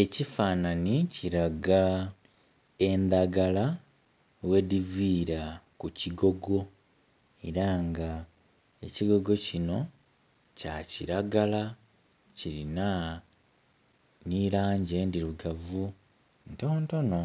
Ekifananhi kilaga endagala ghedivira ku kigogo era nga ekigogo kino kya kilagala kilina ni langi endhirugavu ntontono.